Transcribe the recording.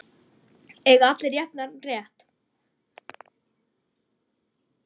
Eiga allir jafnan rétt?